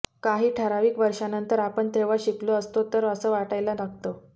काही ठरावीक वर्षानंतर आपण तेव्हा शिकलो असतो तर असं वाटायला लागतं